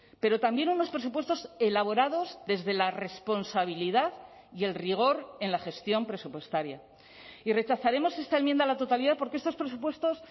pero también unos presupuestos elaborados desde la responsabilidad y el rigor en la gestión presupuestaria y rechazaremos esta enmienda a la totalidad porque estos presupuestos